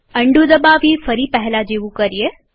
undo દબાવી ફરી પહેલા જેવું કરીએ